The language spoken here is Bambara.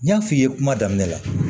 N y'a f'i ye kuma daminɛ la